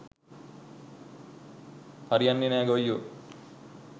හරි යන්නෙ නෑ ගොයියො.